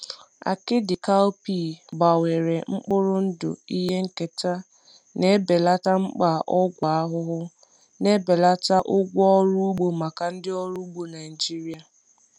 Akidi cowpea gbanwere mkpụrụ ndụ ihe nketa na-ebelata mkpa ọgwụ ahụhụ, na-ebelata ụgwọ ọrụ ugbo maka ndị ọrụ ugbo Naijiria.